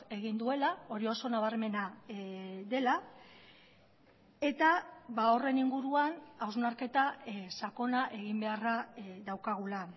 egin duela hori oso nabarmena dela eta horren inguruan hausnarketa sakona egin beharra daukagula